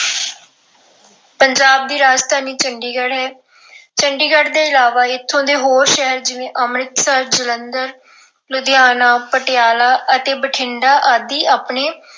ਪੰਜਾਬ ਦੀ ਰਾਜਧਾਨੀ ਚੰਡੀਗੜ੍ਹ ਹੈ। ਚੰਡੀਗੜ ਤੋਂ ਇਲਾਵਾ ਇੱਥੋਂ ਦੇ ਹੋਰ ਸ਼ਹਿਰ ਜਿਵੇਂ ਅੰਮ੍ਰਿਤਸਰ, ਜਲੰਧਰ, ਲੁਧਿਆਣਾ, ਪਟਿਆਲਾ ਅਤੇ ਬਠਿੰਡਾ ਆਦਿ ਆਪਣੇ